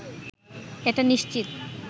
এটা নিশ্চিত